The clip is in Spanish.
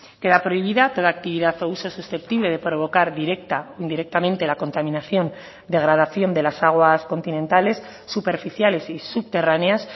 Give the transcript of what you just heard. queda prohibida toda actividad o uso susceptible de provocar directa o indirectamente la contaminación o degradación de las aguas continentales superficiales y subterráneas